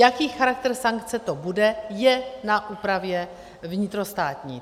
Jaký charakter sankce to bude, je na úpravě vnitrostátní.